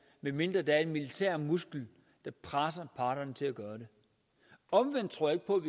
medmindre der er en militær muskel der presser parterne til at gøre det omvendt tror jeg